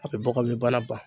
A bɛ bɔkabin bana ban.